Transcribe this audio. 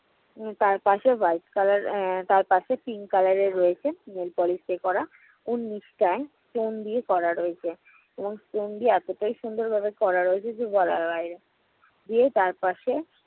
তারপাশে white color আহ তারপাশে pink color এর রয়েছে nail polish দিয়ে করা। foam দিয়ে করা রয়েছে। ওই foam দিয়ে এতোটাই সুন্দর ভাবে করা রয়েছে যে বলার বাইরে দিয়ে তারপাশে